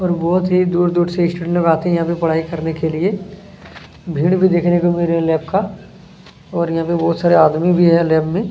और बहुत दूर-दूर से स्टूडेंट लोग यहाँ पर आते हैं पढ़ाई करने के लिए भीड़ भी देखने को मिल रही हैं लोग का और यहाँ पर बहुत सारे आदमी भी है लैब में--